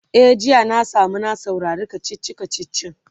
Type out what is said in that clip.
e jiya na samu na saurari kachichi kachichin